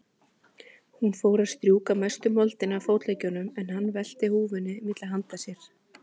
Hún fór að strjúka mestu moldina af fótleggjunum, en hann velti húfunni milli handa sér.